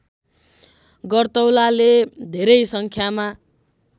गर्तौलाले धेरै सङ्ख्यामा